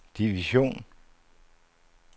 division